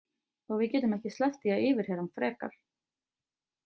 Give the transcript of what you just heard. Og við getum ekki sleppt því að yfirheyra hann frekar.